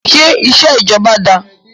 Ṣé iṣẹ́ ìjọba dáá?